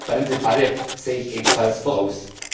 Die spannende Debatte sehe ich ebenfalls voraus.